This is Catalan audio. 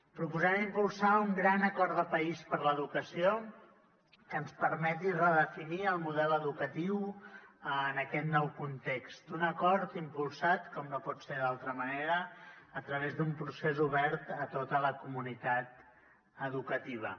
proposem impulsar un gran acord de país per l’educació que ens permeti redefinir el model educatiu en aquest nou context un acord impulsat com no pot ser d’altra manera a través d’un procés obert a tota la comunitat educativa